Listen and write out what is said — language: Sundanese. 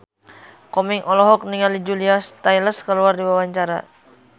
Komeng olohok ningali Julia Stiles keur diwawancara